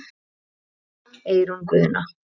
Kveðja, Eyrún Guðna.